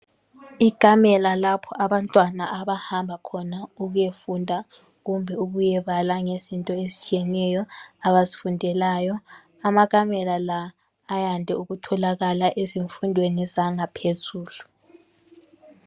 Ikamela lapha abantwana abahamba khona ukuyefunda kumbe ukuyebala ngezinto ezitshiyeneyo abazifundelayo. Amakamela la ayande ukutholakala ezimfundweni zangaphezulu.